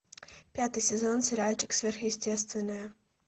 пятый сезон сериальчик сверхъестественное